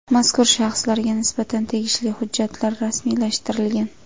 Mazkur shaxslarga nisbatan tegishli hujjatlar rasmiylashtirilgan.